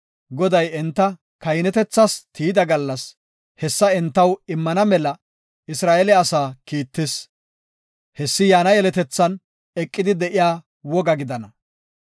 Goday enta kahinetethas tiyida gallas, hessa entaw immana mela Isra7eele asaa kiittis; hessi yaana yeletethan eqidi de7iya woga gidana.